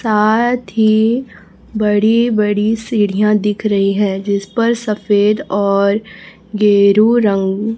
साथ ही बड़ी बड़ी सीढ़ियां दिख रही है जिस पर सफेद और गेरू रंग--